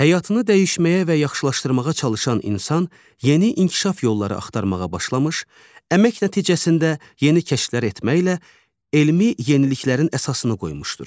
Həyatını dəyişməyə və yaxşılaşdırmağa çalışan insan yeni inkişaf yolları axtarmağa başlamış, əmək nəticəsində yeni kəşflər etməklə elmi yeniliklərin əsasını qoymuşdur.